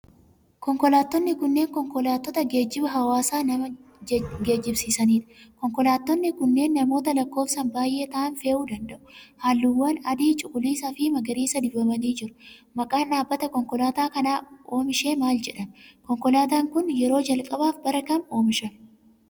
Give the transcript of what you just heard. Konkolaattonni kunneen, konkolaattota geejiba hawaasaa nama geejibsiisanii dha. Konkolaattonni kunneen, namoota lakkoofsan baay'ee ta'an fe'uu danada'u. Haalluuwwan adii ,cuquliisa fi magariisa dibamanii jiru. Maqaan dhaabbatta konkolaataa kana oomishee maal jedhama? Konkolaataan kun, yeroo jalqabaaf bara kam oomishame?